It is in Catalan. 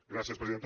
gràcies presidenta